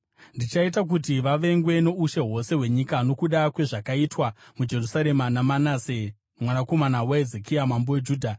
Ndichaita kuti vavengwe noushe hwose hwenyika nokuda kwezvakaitwa muJerusarema naManase, mwanakomana waHezekia mambo weJudha.